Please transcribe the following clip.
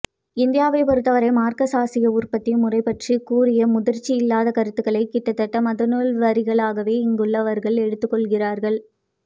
இந்தியாவைப் பொறுத்தவரை மார்க்ஸ் ஆசிய உற்பத்தி முறை பற்றி கூறிய முதிர்ச்சியில்லாத கருத்துக்களை கிட்டத்தட்ட மதநூல் வரிகளாகவே இங்குள்ளவர்கள் எடுத்துக்கொள்கிறார்கள்